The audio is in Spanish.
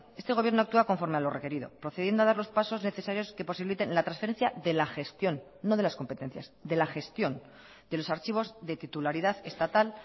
este gobierno actúa conforme a lo requerido procediendo a dar los pasos necesarios que posibiliten la transferencia de la gestión no de las competencias de la gestión de los archivos de titularidad estatal